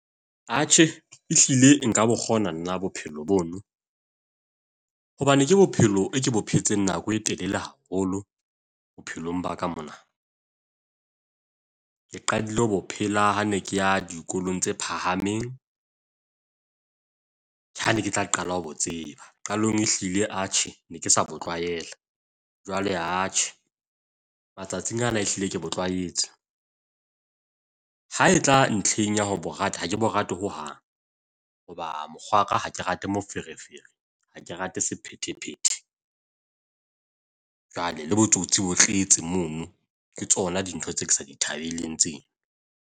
Atjhe, ehlile nka bo kgona nna bophelo bono hobane ke bophelo e ke bo phetseng nako e telele haholo bophelong ba ka mona. Ke qadile ho bo phela ha ne ke ya dikolong tse phahameng, ha ne ke tla qala ho bo tseba. Qalong e hlile atjhe ne ke sa bo tlwaela. Jwale atjhe matsatsing ana ehlile ke bo tlwaetse. Ha e tla ntlheng ya ho bo rata. Ha ke bo rate hohang hoba mokgwaka ha ke rate moferefere. Ha ke rate sephethephethe. Jwale le botsotsi bo tletse mono. Ke tsona dintho tse ke sa di thabeleng tseno.